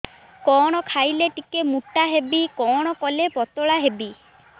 କଣ ଖାଇଲେ ଟିକେ ମୁଟା ହେବି କଣ କଲେ ପତଳା ହେବି